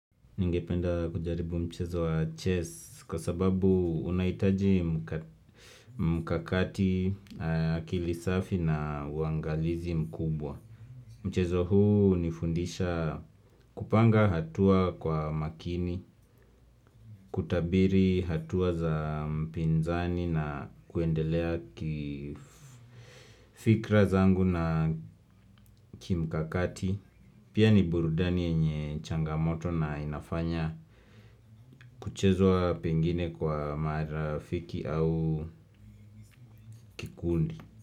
Ningependa kujaribu mchezo wa chess kwa sababu unaitaji mkakati akili safi na uangalizi mkubwa. Mchezo huu unifundisha kupanga hatua kwa makini, kutabiri hatua za mpinzani na kuendelea kifikra zangu na kimkakati. Pia ni burudani yenye changamoto na inafanya kuchezwa pengine kwa marafiki au kikundi.